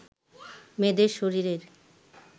মেয়েদের শরীরের